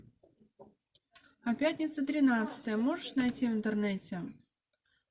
а пятница тринадцатое можешь найти в интернете